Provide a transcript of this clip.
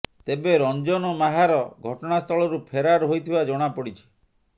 ତେବେ ରଞ୍ଜନ ମାହାର ଘଟଣା ସ୍ଥଳରୁ ଫେରାର ହୋଇଥିବା ଜଣା ପଡ଼ିଛି